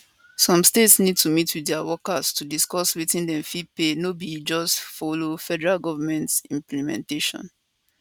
some states need to meet wit dia workers to discuss wetin dem fit pay no be to just follow federal goment implementation